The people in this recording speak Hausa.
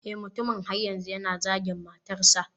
Eh mutumin har yanzu yana zagin matarsa.